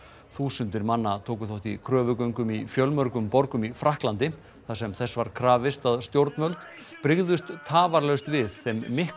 þúsundir manna tóku þátt í kröfugöngum í fjölmörgum borgum í Frakklandi þar sem þess var krafist að stjórnvöld brygðust tafarlaust við þeim mikla